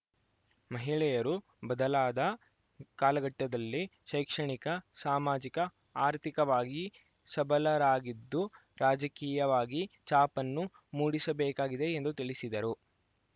ಮಹಿಳೆಯರು ಬದಲಾದ ಕಾಲಘಟ್ಟದಲ್ಲಿ ಶೈಕ್ಷಣಿಕ ಸಾಮಾಜಿಕ ಆರ್ಥಿಕವಾಗಿ ಸಬಲರಾಗಿದ್ದು ರಾಜಕೀಯವಾಗಿ ಛಾಪನ್ನು ಮೂಡಿಸಬೇಕಾಗಿದೆ ಎಂದು ತಿಳಿಸಿದರು